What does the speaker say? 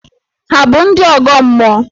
Hà bụ ndị ọgọ mmụọ?